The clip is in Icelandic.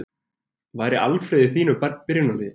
Væri Alfreð í þínu byrjunarliði?